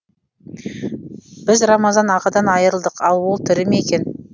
біз рамазан ағадан айырылдық ал ол тірі ме екен